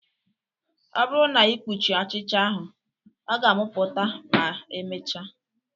Ọ bụrụ na ị kpuchiri ọchịcha ahụ ọ ga-amụpụta ma emechaa